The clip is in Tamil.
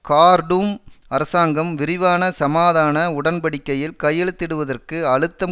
கார்டூம் அரசாங்கம் விரிவான சமாதான உடன்படிக்கையில் கையெழுத்திடுவதற்கு அழுத்தம்